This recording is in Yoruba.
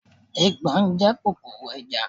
Eegbon jẹ́ kòkòrò ajá.